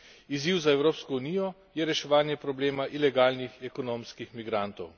Izziv za Evropsko unijo je reševanje problema ilegalnih ekonomskih migrantov.